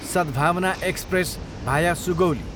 सद्भावना एक्सप्रेस, भाया सुगौली